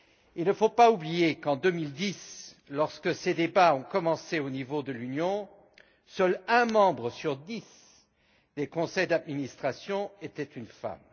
Il ne faut pas oublier qu'en 2010, lorsque ces débats ont commencé au niveau de l'Union, seul un membre sur dix des conseils d'administration était une femme.